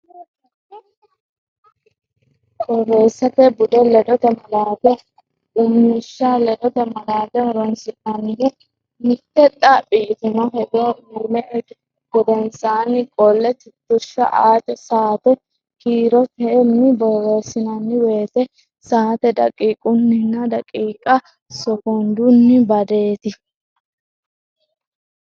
Borreessate Bude: Ledote Malaate Qummishsha Ledote malaate horonsi’nannihu: mitte xaphi yitino hedo uyni gedensaanni qolle tittirsha aate, saate kiirotenni borreessinanni woyte saate daqiiqunninna daqiiqa sokondunni badateeti.